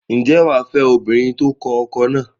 Ǹjẹ́ wà á fẹ́ obìnrin tó kọkọ náà?